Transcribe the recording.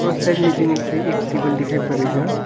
से एक टेबल दिखाई पड़ेगा।